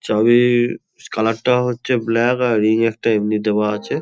চাবি-ই-র colour টা হচ্ছে black আর রিং একটা এমনি দেওয়া আছে।